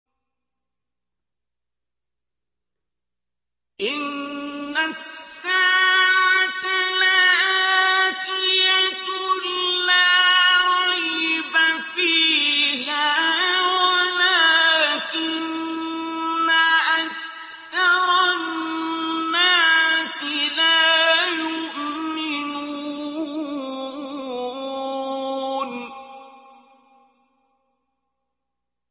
إِنَّ السَّاعَةَ لَآتِيَةٌ لَّا رَيْبَ فِيهَا وَلَٰكِنَّ أَكْثَرَ النَّاسِ لَا يُؤْمِنُونَ